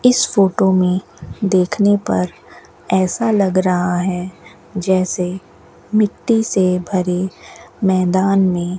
इस फोटो में देखने पर ऐसा लग रहा है जैसे मिट्टी से भरे मैदान में --